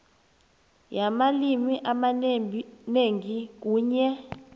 yamalimi amanengi kunye